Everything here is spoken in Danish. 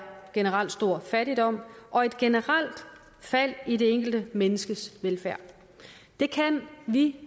generelt stor fattigdom og et generelt fald i det enkelte menneskes velfærd det kan vi